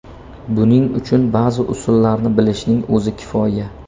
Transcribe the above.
Buning uchun ba’zi usullarni bilishning o‘zi kifoya.